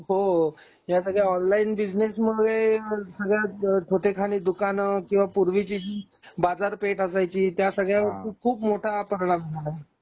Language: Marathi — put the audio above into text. हो ह्या सगळ्या ऑनलाइन बिझनेस मुळे सगळ खोटे खाणी दुकान किंवा पूर्वीची बाजारपेठ असायची त्या सगळ्या खूप मोठा हा तलाब झाला